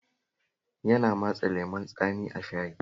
Yana matsa lemon tsami a shayin